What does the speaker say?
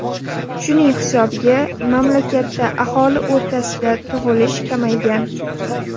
Shuning hisobiga mamlakatda aholi o‘rtasida tug‘ilish kamaygan.